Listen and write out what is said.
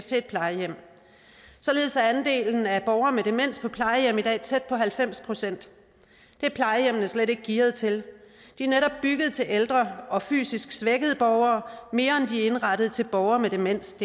til et plejehjem således er andelen af borgere med demens på plejehjem i dag tæt på halvfems procent det er plejehjemmene slet ikke gearet til de er netop bygget til ældre og fysisk svækkede borgere mere end er indrettet til borgere med demens